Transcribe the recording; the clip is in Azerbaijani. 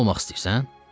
Sən nə olmaq istəyirsən?